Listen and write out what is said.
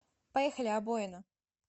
поехали обоина